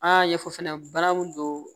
A y'a ɲɛfɔ fɛnɛ bana mun don